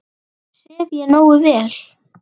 Sef ég nógu vel?